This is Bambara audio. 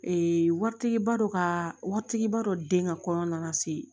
Ee waritigiba dɔ ka waritigiba dɔ den ka kɔɲɔ nana se